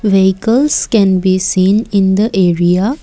vehicles can be seen in the area.